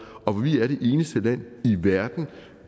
og vi er det eneste land i verden